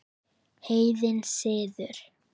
Heiðinn siður